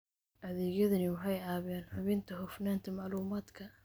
Adeegyadani waxay caawiyaan hubinta hufnaanta macluumaadka.